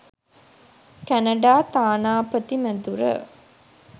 Canada තානාපති මැදුර.